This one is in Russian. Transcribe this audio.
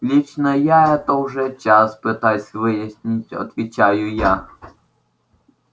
лично я это уже час пытаюсь выяснить отвечаю я